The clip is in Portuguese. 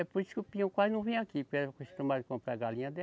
É por isso que o Peão quase não vem aqui acostumado comprar galinha dela.